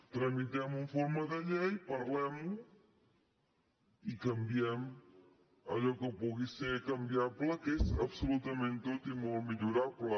tramitem ho en forma de llei parlem ho i canviem allò que pugui ser canviable que és absolutament tot i molt millorable